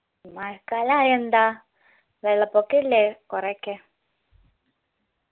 മഴക്കലായായെന്താ വെള്ളപൊക്കില്ലേ കൊറെയൊക്കെ